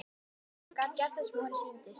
Hann gat gert það sem honum sýndist.